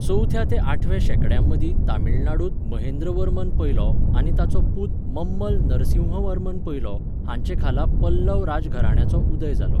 चवथ्या ते आठव्या शेंकड्यांमदीं तमिळनाडूंत महेंद्रवर्मन पयलो आनी ताचो पूत मम्मल नरसिंहवर्मन पयलो हांचे खाला पल्लव राजघराण्याचो उदय जालो.